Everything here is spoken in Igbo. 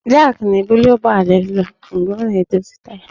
Jak na-ebuli ụgbọala elu mgbe a na-edozi taya